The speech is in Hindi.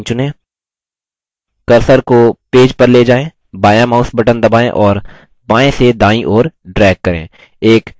cursor को पेज पर ले जाएँ बायाँmouse button दबाएँ और बायें से दायीं ओर drag करें